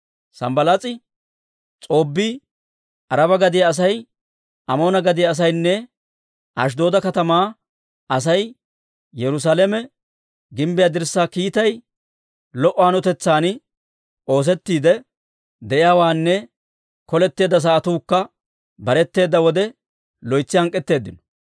Sanbbalaas'i, S'oobbii, Araba gadiyaa asay, Amoona gadiyaa asaynne Ashidooda katamaa Asay Yerusaalame gimbbiyaa dirssaa kiittay lo"o hanotetsan oosettiidde de'iyaawaanne koleteedda sa'atuukka baretteeda wode loytsi hank'k'eteeddino.